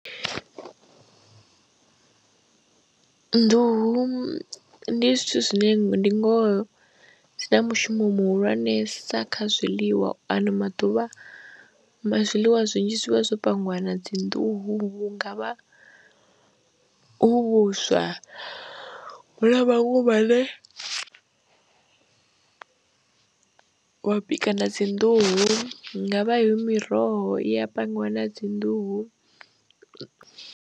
Nḓuhu ndi zwithu zwine ndi ngoho dzi na mushumo muhulwanesa kha zwiḽiwa ano maḓuvha ma zwiḽiwa zwinzhi zwi vha zwo pangiwa na dzi nḓuhu, hu nga vha hu vhuswa hune ha vha hu vhune, wa bika na dzi nḓuhu hu nga vha hu miroho i ya pangiwa na dzi nḓuhu.